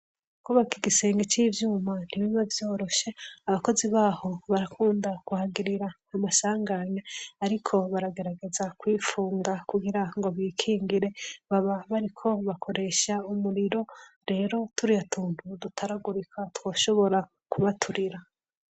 Kwubaka igisenge cy'ivyuma ntibiba vyoroshye. Abakozi baho barakunda kuhagirira umasanganya ariko baragerageza kwipfunga kugira ngo bikingire baba bariko bakoresha umuriro rero turiya tuntu dutaragurika twoshobora kubaturira.